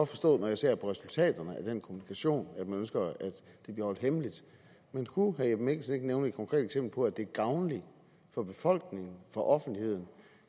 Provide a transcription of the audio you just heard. forstå når jeg ser på resultaterne af den kommunikation at man ønsker at det bliver holdt hemmeligt men kunne herre jeppe mikkelsen ikke nævne et konkret eksempel på at det er gavnligt for befolkningen for offentligheden